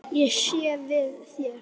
Ég sé við þér.